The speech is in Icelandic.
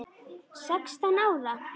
Sextán ára?